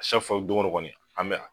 don o don kɔni an bɛ yan.